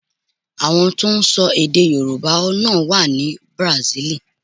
Àwọn tó ń sọ èdè Yorùbá náà wá ní Bùràsílì.